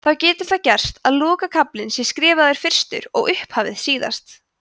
þá getur það gerst að lokakaflinn sé jafnvel skrifaður fyrstur en upphafið síðast